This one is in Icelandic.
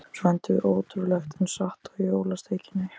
Svo endum við, ótrúlegt en satt, á jólasteikinni.